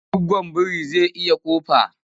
Goggon biri zai iya ƙofar.